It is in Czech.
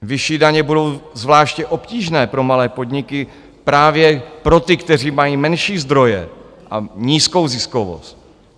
Vyšší daně budou zvláště obtížné pro malé podniky, právě pro ty, kteří mají menší zdroje a nízkou ziskovost.